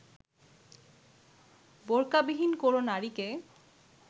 বোরকাবিহীন কোনো নারীকে